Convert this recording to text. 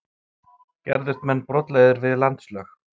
Gerðust menn brotlegir við landslög?